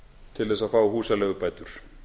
til þess að fá húsaleigubætur